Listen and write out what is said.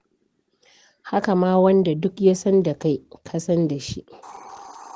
Haka ma wanda duk ya san da kai ka san da shi.